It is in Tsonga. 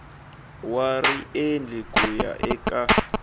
wa riendli ku ya eka